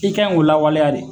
I kaɲi ko lawaleya de.